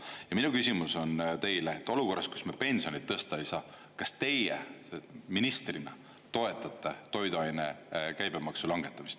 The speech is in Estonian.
Ja minu küsimus on teile, et olukorras, kus me pensione tõsta ei saa, kas teie ministrina toetate toiduainete käibemaksu langetamist.